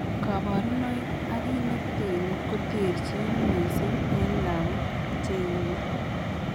Kabarunaik ak kit neten koterchin mising en lagok cheime